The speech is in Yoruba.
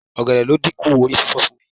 Ọ̀gẹ̀dẹ̀ ló dínkù orí fífọ fún mi.